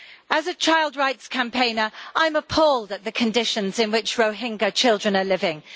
As a child rights campaigner, I'm appalled at the conditions in which Rohingya children are living.